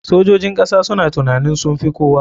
Sojojin kasa suna tunanin sunfi kowa.